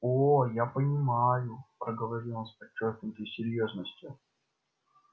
о я понимаю проговорил он с подчёркнутой серьёзностью